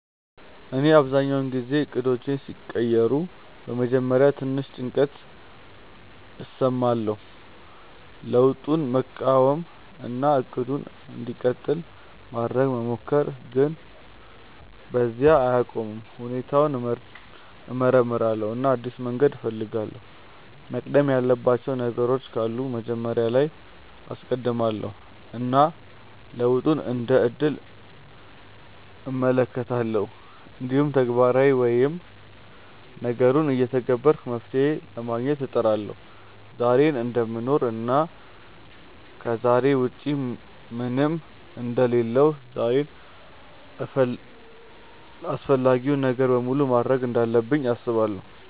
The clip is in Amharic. እኔ አብዛኛውን ጊዜ እቅዶቼ ሲቀየሩ በመጀመሪያ ትንሽ ጭንቀት እሰማለሁ፣ ለውጡን መቃወም እና “እቅዱ እንዲቀጥል” ማድረግ መሞከር፣ ግን በዚያ አልቆይም። ሁኔታውን እመርምራለሁ እና አዲስ መንገድ እፈልጋለሁ፤ መቅደም ያለባቸው ነገሮች ካሉ መጀመሪያ ላይ አስቀድማለው እና ለውጡን እንደ እድል እመለከታለሁ። እንዲሁም ተግባራዊ ወይም ነገሩን እየተገበርኩ መፍትሄ ለማግኘት እጥራለሁ። ዛሬን እደምኖር እና ከዛሬ ውጪ ምንም አንደ ሌለሁ ዛሬን አፈላጊውን ነገር በሙሉ ማድርግ እንዳለብኝ አስባለው።